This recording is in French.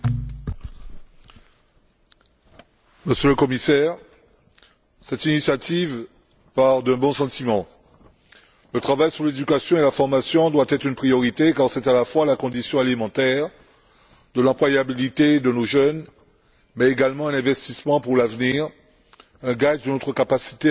Madame la Présidente, Monsieur le Commissaire, cette initiative part d'un bon sentiment. Le travail sur l'éducation et la formation doit être une priorité quand c'est à la fois la condition élémentaire de l'employabilité de nos jeunes mais également un investissement pour l'avenir, un gage de notre capacité à maintenir un développement dynamique et durable.